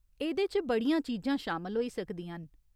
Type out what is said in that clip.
एह्दे च बड़ियां चीजां शामल होई सकदियां न।